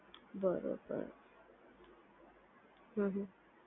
બરોબર હમ્મ હમ્મ